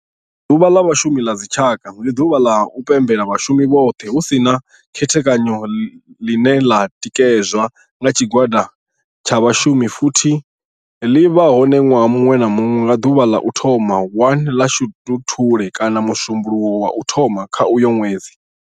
Ḓuvha la Vhashumi ḽa dzi tshaka, ndi duvha la u pembela vhashumi vhothe hu si na u khethekanyo ḽine ḽa tikedzwa nga tshigwada tsha vhashumi futhi ḽi vha hone nwaha munwe na munwe nga duvha ḽa u thoma 1 ḽa Shundunthule kana musumbulowo wa u thoma kha uyo nwedzi.